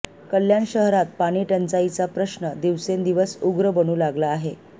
कल्याण शहरात पाणीटंचाईचा प्रश्न दिवसेंदिवस उग्र बनू लागला आहे